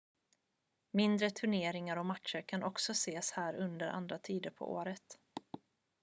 mindre turneringar och matcher kan också ses här under andra tider på året